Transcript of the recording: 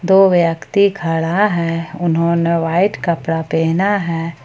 दो व्यक्ति खड़ा है उन्होंने वाइट कपड़ा पहना है।